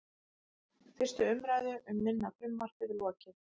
Fyrstu umræðu um minna frumvarpið lokið